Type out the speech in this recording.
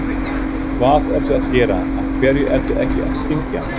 hvað ertu að gera, af hverju ertu ekki að syngja!?